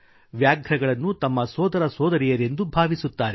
ವ್ಯಾಘ್ರಗಳನ್ನು ತಮ್ಮ ಸೋದರಸೋದರಿಯರೆಂದು ಭಾವಿಸುತ್ತಾರೆ